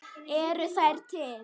Eru þær til?